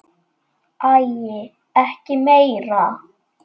Æi, ekki meira!